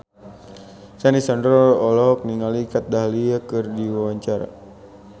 Sandy Sandoro olohok ningali Kat Dahlia keur diwawancara